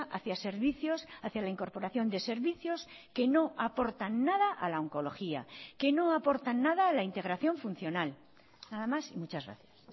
hacia servicios hacia la incorporación de servicios que no aportan nada a la oncología que no aportan nada a la integración funcional nada más y muchas gracias